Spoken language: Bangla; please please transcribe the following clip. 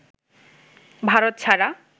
ভারত ছাড়া